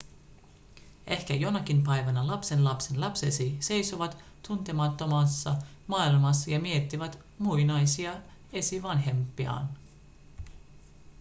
ehkä jonakin päivänä lapsenlapsenlapsesi seisovat tuntemattomassa maailmassa ja miettivät muinaisia esivanhempiaan